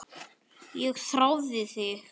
Ég þrái þig